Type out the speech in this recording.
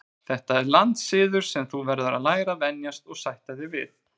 Þetta er landssiður sem þú verður að læra að venjast og sætta þig við.